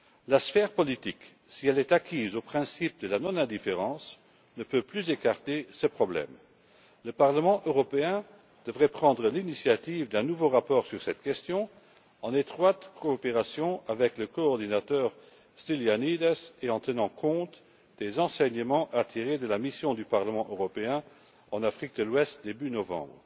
La sphère politique, si elle est acquise au principe de la non indifférence, ne peut plus écarter ce problème. Le Parlement européen devrait prendre l'initiative d'un nouveau rapport sur cette question en étroite coopération avec le coordinateur Stylianides et en tenant compte des enseignements à tirer de la mission du Parlement européen en Afrique de l'Ouest début novembre.